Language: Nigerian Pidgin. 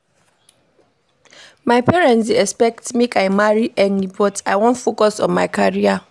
My parents dey expect make I marry early but I wan focus on my career.